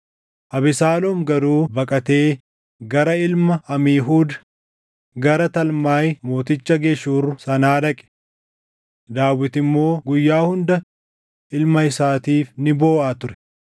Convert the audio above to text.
Abesaaloom garuu baqatee gara ilma Amiihuud, gara Talmaay mooticha Geshuur sanaa dhaqe. Daawit immoo guyyaa hunda ilma isaatiif ni booʼa ture.